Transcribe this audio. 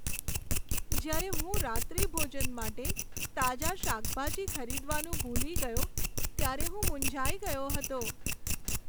જ્યારે હું રાત્રિભોજન માટે તાજા શાકભાજી ખરીદવાનું ભૂલી ગયો ત્યારે હું મૂંઝાઈ ગયો હતો.